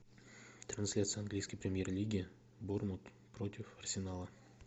трансляция английской премьер лиги борнмут против арсенала